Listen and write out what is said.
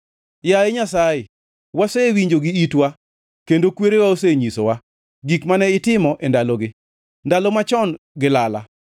Yaye Nyasaye, wasewinjo gi itwa; kendo kwerewa osenyisowa, gik mane itimo e ndalogi, ndalo machon gi lala.